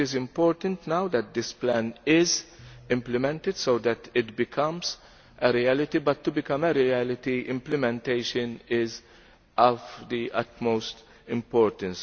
It is important now that this plan is implemented so that it becomes a reality, but to become a reality, implementation is of the utmost importance.